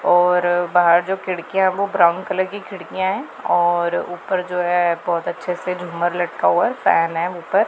और बाहर जो खिड़कियां वो ब्राउन कलर की खिड़कियां है और ऊपर जो है बहोत अच्छे से झूमर लटका हुआ है फैन है ऊपर--